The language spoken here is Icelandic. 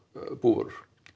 búvörum